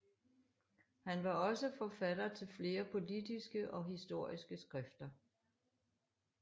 Han var også forfatter af flere politiske og historiske skrifter